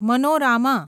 મનોરામાં